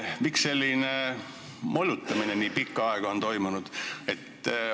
Miks selline molutamine nii pikka aega on toimunud?